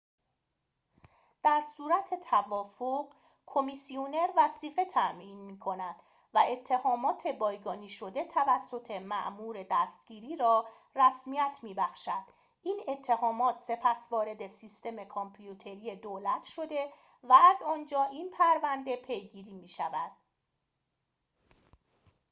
در صورت توافق کمیسیونر وثیقه تعیین می‌کند و اتهامات بایگانی شده توسط مأمور دستگیری را رسمیت می‌بخشد این اتهامات سپس وارد سیستم کامپیوتری دولت شده و از آنجا این پرونده پیگیری می‌شود